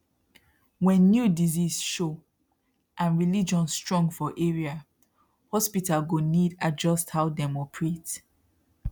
when new disease show and religion strong for area hospital go need adjust how dem operate